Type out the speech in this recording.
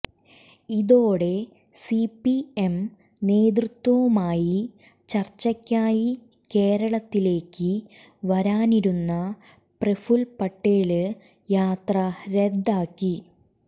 ഇതോടെ C P M നേതൃത്വവുമായി ചര്ച്ചക്കായി കേരളത്തിലേക്ക് വരാനിരുന്ന പ്രഫുല് പട്ടേല് യാത്ര റദ്ദാക്കി